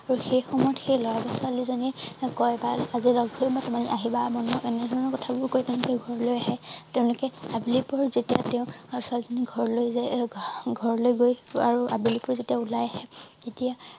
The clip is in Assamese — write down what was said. আৰু সেই সময়ত সেই লৰা বা ছোৱালীয়ে কয় বা আজি লগ ধৰিম মই তোমাক আহিব মই তোমাক এনেধৰণৰ কথাবোৰকৈ তেনেকে ঘৰলে আহে তেওঁলোকে আবেলি পৰ যেতিয়া তেওঁ ছোৱালী জনী ঘৰলৈ যায় ঘৰলৈ গৈ আৰু আবেলিকৈ যেতিয়া ওলাই আহে তেতিয়া